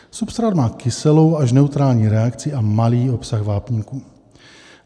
Substrát má kyselou až neutrální reakci a malý obsah vápníku.